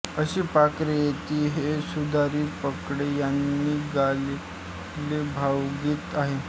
अशी पाखरे येती हे सुधीर फडके यांनी गायलेले भावगीत आहे